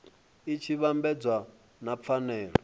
i tshi vhambedzwa na pfanelo